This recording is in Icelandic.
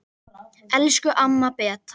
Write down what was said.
Elsku amma Beta.